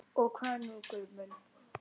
Og hvað nú Guð minn?